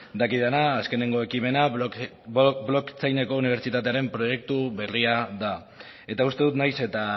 dakidana azkeneko ekimena unibertsitatearen proiektu berria da eta uste dut nahiz eta